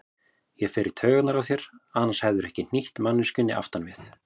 Ég fer í taugarnar á þér, annars hefðirðu ekki hnýtt manneskjunni aftan við.